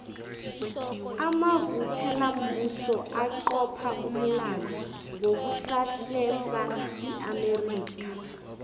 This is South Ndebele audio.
amavukelambuso aqopha umlando ngokusahlesa iamerica